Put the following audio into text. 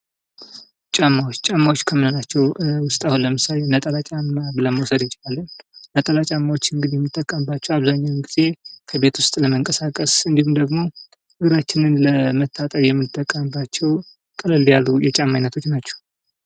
ጫማዎች፦ ጫማዎች ከምንላቸው አሁን ለምሳሌ ነጠላ ጫማ ለመውሰድ እንችላለን። ነጠላ ጫማዎች እንግዲህ የምንጠቀምባቸው አብዛኛውን ጊዜ ከቤት ውስጥ ለመንቀሳቀስ እንድሁም ደግሞ እግራችንን ለመታጠብ የምንጠቀምባቸው ቀለል ያሉ የጫማ አይነቶች ናቸው።